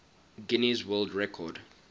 guinness world record